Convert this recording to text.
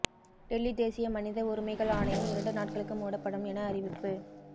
டெல்லி தேசிய மனித உரிமைகள் ஆணையம் இரண்டு நாட்களுக்கு மூடப்படும் என அறிவிப்பு